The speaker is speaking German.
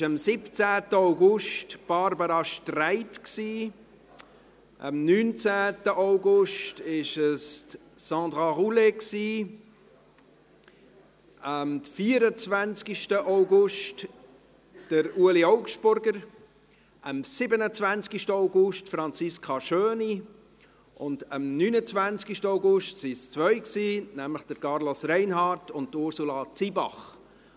Das war am 17. August Barbara Streit, am 19. August Sandra Roulet, am 24. August Ueli Augstburger, am 27. August Franziska Schöni, und am 29. August waren es zwei, nämlich Carlos Reinhard und Ursula Zybach.